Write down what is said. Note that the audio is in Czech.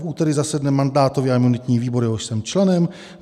V úterý zasedne mandátový a imunitní výbor, jehož jsem členem.